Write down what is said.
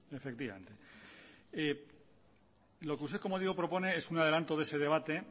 eso no efectivamente lo que usted como digo propone es un adelanto de ese debate